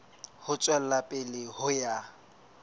ho tswela pele ho ya